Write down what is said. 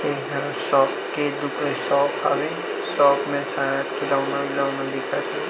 ए ह शॉप के दुका शॉप हवे शॉप में शायद खिलौना-विलोना दिखत हे।